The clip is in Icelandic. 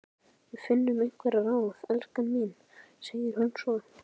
Við finnum einhver ráð, elskan mín, segir hún svo.